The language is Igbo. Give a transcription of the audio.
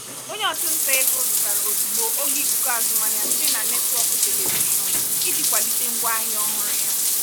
onye ọchụnta ego zụtara ozugbo oge ikuku azụmahịa site na netwọkụ telivishọn iji kwalite ngwaahịa ọhụrụ ya.